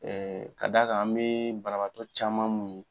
Ɛɛ ka d'a kan, an be banabaatɔ caman mun ye